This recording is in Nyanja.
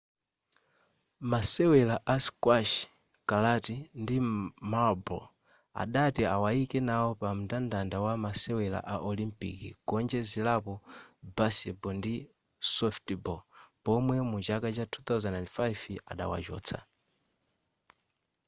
masewera a squash karate ndi maroller adati awaike nawo pa mndandanda wa masewera a olympic kuonjezerapo baseball ndi softball pomwe muchaka cha 2005 adawachotsa